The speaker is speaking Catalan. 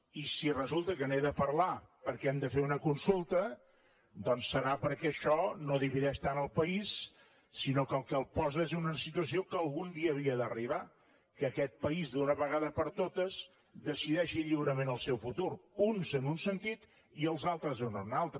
i si resulta que n’he de parlar perquè hem de fer una consulta doncs serà perquè això no divideix tant el país sinó que el que el posa és en una situació que algun dia havia d’arribar que aquest país d’una vegada per totes decideixi lliurement el seu futur uns en un sentit i els altres en un altre